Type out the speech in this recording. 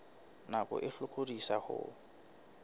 nako e hlokolosi e ka